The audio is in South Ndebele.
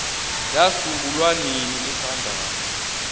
yasungulwa nini ihlangano